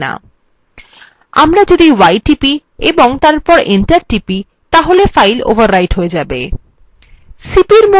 আমরা যদি y টিপি এবং তারপর enter টিপি তাহলে file overwrite হয়ে যায়